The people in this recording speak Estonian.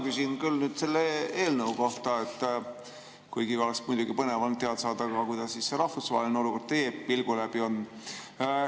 No mina küsin küll selle eelnõu kohta, kuigi oleks muidugi põnev olnud teada saada, kuidas rahvusvaheline olukord teie pilgu läbi tundub.